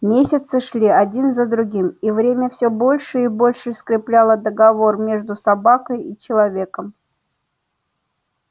месяцы шли один за другим и время все больше и больше скрепляло договор между собакой и человеком